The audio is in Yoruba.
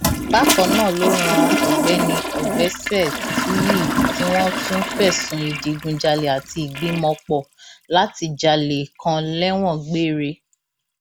bákan náà ló ran ọgbẹni ọgbẹsẹtuyí tí wọn tún fẹsùn ìdígunjalè àti ìgbìmọpọ láti jalè kan lẹwọn gbére